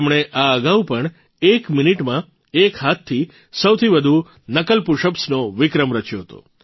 તેમણે આ અગાઉ પણ એક મિનિટમાં એક હાથથી સૌથી વધુ નકલ પુશઅપ્સનો વિક્રમ રચ્યો હતો